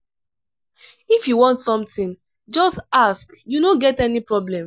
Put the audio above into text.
if you want something just ask you no get any problem.